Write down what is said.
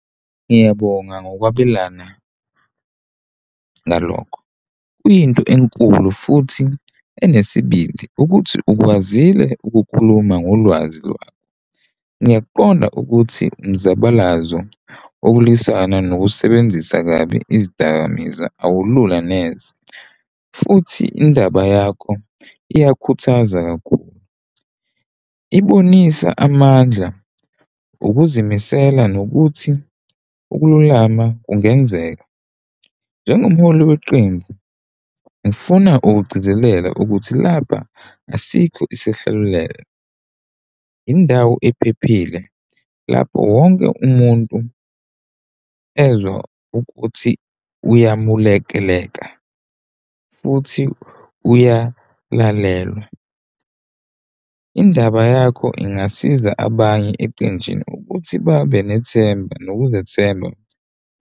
Ngiyabonga ngokwabelana ngalokho. Kuyinto enkulu futhi enesibindi ukuthi ukwazile ukukhuluma ngolwazi lwakho. Ngiyaqonda ukuthi umzabalazo, okulwisana nokusebenzisa kabi izidakamizwa awulula neze, futhi indaba yakho iyakhuthaza kakhulu, ibonisa amandla, ukuzimisela nokuthi ukululama kungenzeka njengomholi weqembu. Ngifuna ukugcizelela ukuthi lapha asikho isehlulelo, indawo ephephile lapho wonke umuntu ezwa ukuthi uyamulalekelela futhi uyalalelwa. Indaba yakho ingasiza abanye eqenjini ukuthi babe nethemba nokuzethemba.